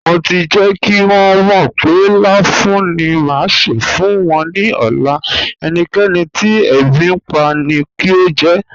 Mo ti jẹ́ kí wọn mọ̀ pé láfùún ni má ṣé fún wọn ní ọ̀lá, ẹ̀níkẹ̀nì tí èbí npa ni kí o jẹ́.